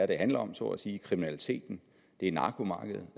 det handler om så at sige altså kriminaliteten det er narkomarkedet